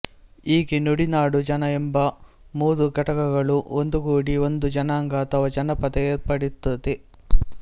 ಹೀಗೆ ನುಡಿ ನಾಡು ಜನ ಎಂಬ ಮೂರು ಘಟಕಗಳೂ ಒಂದುಗೂಡಿ ಒಂದು ಜನಾಂಗ ಅಥವಾ ಜನಪದ ಏರ್ಪಡುತ್ತದೆ